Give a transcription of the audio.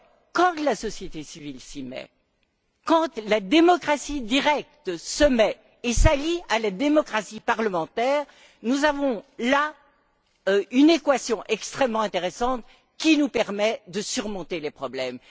Quand la société civile s'y met, quand la démocratie directe s'y met et s'allie à la démocratie parlementaire, nous avons là une équation extrêmement intéressante qui nous permet de surmonter les problèmes.